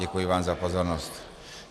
Děkuji vám za pozornost.